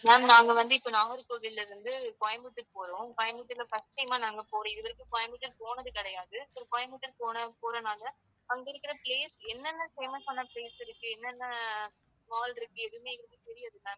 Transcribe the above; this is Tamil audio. ma'am நாங்க வந்து இப்ப நாகர்கோவில்ல இருந்து கோயம்புத்தூர் போறோம். கோயம்புத்தூர்ல first time ஆ நாங்க போறோம். இதுவரைக்கும் கோயம்புத்தூர் போனது கிடையாது. So கோயம்புத்தூர் போன~ போறதுனால அங்க இருக்கிற place என்னென்ன famous ஆன place இருக்கு, என்னென்ன mall இருக்கு எதுவுமே எங்களுக்குத் தெரியாது ma'am